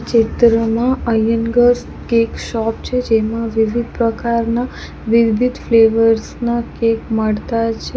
ચિત્રમાં Iyengars cake shop છે જેમાં વિવિધ પ્રકારના વિવિધ ફ્લેવર્સ ના કેક મળતા છે.